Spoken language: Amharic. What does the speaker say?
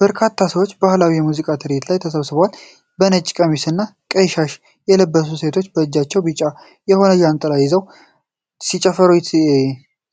በርካታ ሰዎች በባህላዊ የሙዚቃ ትርኢት ላይ ተሰብስበዋል። የነጭ ቀሚስና ቀይ ሻሽ የለበሱ ሴቶች በእጃቸው ቢጫ የሆኑ ጃንጥላዎች ይዘው ሲጨፍሩ